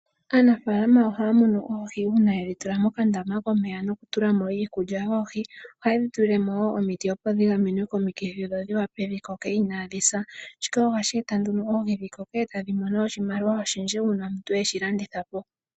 Aanafaalama ohaya mono oohi uuna yedhi tula mokandama komeya nokutulamo iikulya yoohi ohayedhi tulilemo wo omiti opo dhi gamenwe komikithi dho dhi wape dhikoke inadhi sa. Shika ohashi eta nduno oohi dhi koko noku eta oshimaliwa oshindji uuna yedhi landithapo